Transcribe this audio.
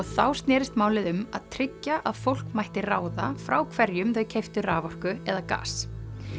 þá snerist málið um að tryggja að fólk mætti ráða frá hverjum þau keyptu raforku eða gas